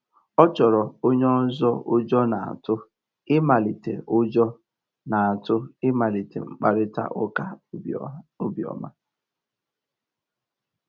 Ọ́ chọ́ọ́rọ́ ónyé ọ́zọ́ ụ́jọ́ n'átụ̀ ị̀màlíté ụ́jọ́ n'átụ̀ ị̀màlíté mkpàrị́tà ụ́ká óbíọ́mà.